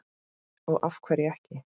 Og af hverju ekki?